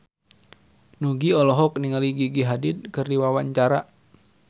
Nugie olohok ningali Gigi Hadid keur diwawancara